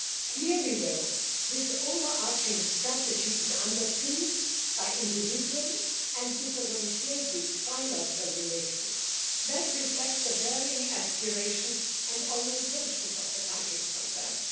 Clearly, though, this overarching strategy is underpinned by individual and differentiated bilateral relations that reflect the varying aspirations and orientations of the countries concerned.